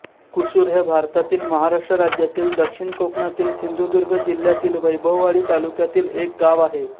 कुसूर हे भारतातील महाराष्ट्र राज्यातील दक्षिण कोकणातील सिंधुदुर्ग जिल्ह्यातील वैभववाडी तालुक्यातील एक गाव आहे